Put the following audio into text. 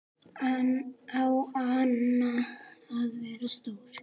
Á hann að vera stór?